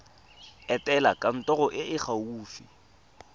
etela kantoro e e gaufi